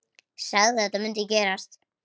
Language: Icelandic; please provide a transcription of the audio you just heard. Sagði að þetta mundi gerast.